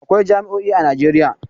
Akwai jami'o'i a Najeriya.